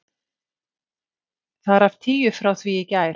Þar af tíu frá því í gær.